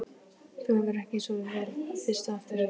Þú hefur ekki sofið vel fyrst á eftir?